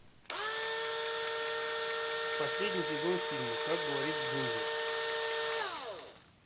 последний сезон фильма как говорит джинджер